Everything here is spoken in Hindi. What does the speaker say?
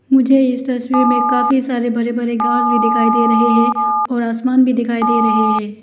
मुझे इस तस्वीर में काफी सारे बड़े बड़े घास भी दिखाई दे रहे है और आसमान भी दिखाई दे रहे है।